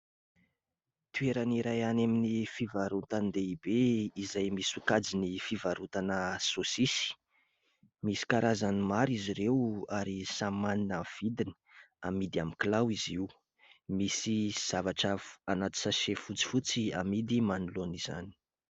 Toerana iray any amin'ny fivarotan-dehibe izay misy sokajiny fivarotana saosisy. Misy karazany maro izy ireo ary samy manana ny vidiny, amidy amin'ny kilao izy io. Misy zavatra anaty"sachet" fotsifotsy amidy manoloana izany.